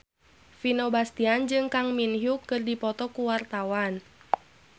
Vino Bastian jeung Kang Min Hyuk keur dipoto ku wartawan